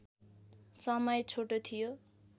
समय छोटो थियो